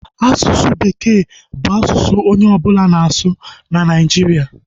Asụsụ bekee bụ asụsụ onye ọbụla na-asụ na Nigeria